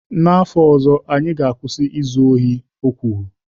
N'afọ ọzọ anyị ga-akwụsị izu ohi kwuru.